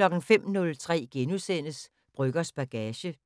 05:03: Brøggers bagage *